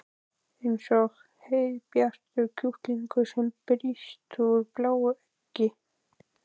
Eins og heiðbjartur kjúklingur sem brýst úr bláu eggi.